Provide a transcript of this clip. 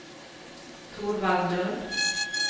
Torvald Lund